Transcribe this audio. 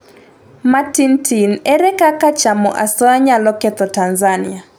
matin tin: ere kaka chamo asoya nyalo ketho Tanzania?